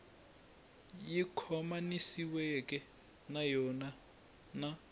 yi khomanisiweke na yona na